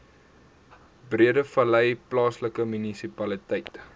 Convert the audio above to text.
breedevallei plaaslike munisipaliteit